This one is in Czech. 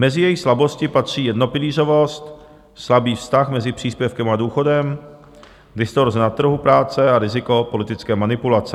Mezi její slabosti patří jednopilířovost, slabý vztah mezi příspěvkem a důchodem, distorze na trhu práce a riziko politické manipulace.